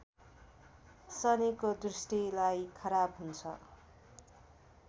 शनिको दृष्टिलाई खराब हुन्छ